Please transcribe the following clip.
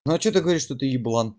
ну что ты говоришь что ты еблан